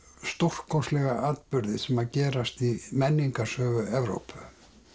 stórkostlega atburði sem að gerast í menningarsögu Evrópu